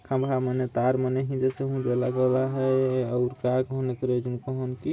खम्भा मने तार मने इंधे से उन्धे लागल आहाय आउर का कहन अतरे जून कहन की --